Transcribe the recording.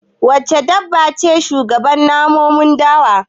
Wace dabba ce shugaban namun dawa?